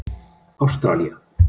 Ástralía